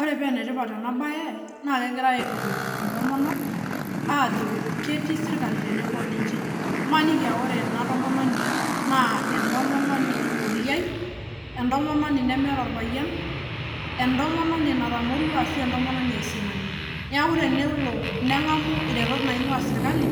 Ore peenetipat enabaye naa kegirai aitukuj intomonok aajo ketii sirkali tenebo oninche. Maniki [aa] ore ena tomononi naa entomononi oliai, entomononi nemeata olpayian, entomononi natamorua ashu entomononi aisinani. Neaku tenelo neng'amu iretot naing'uaa sirkali